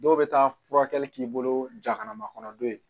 Dɔw bɛ taa furakɛli k'i bolo jakana makɔnɔ don ye